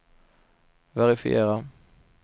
verifiera